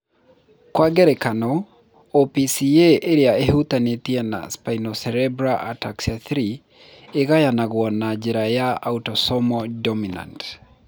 Kwa ngerekano, OPCA ĩrĩa ĩhutanĩtie na spinocerebellar ataxia 3 ĩgayagwo na njĩra ya autosomal dominant.